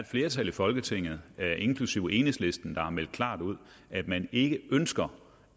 flertal i folketinget inklusive enhedslisten har meldt klart ud at man ikke ønsker